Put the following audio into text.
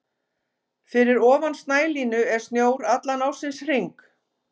Fyrir ofan snælínu er snjór allan ársins hring.